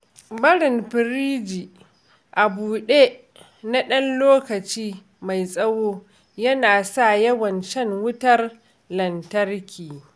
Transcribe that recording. Barin firiji a buɗe na ɗan lokaci mai tsawo yana sa yawan shan wutar lantarki.